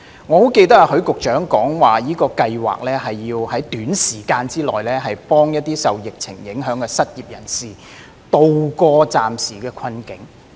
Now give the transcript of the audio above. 我很記得許局長曾經表示，這項計劃是要在短時間內幫助一些受疫情影響的失業人士渡過暫時的困境。